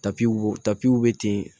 Tapitapiw be ten